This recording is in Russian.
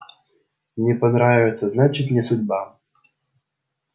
не понравится значит не судьба